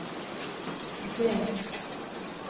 G